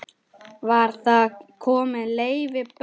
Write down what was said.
Var þar kominn Leifur bóndi.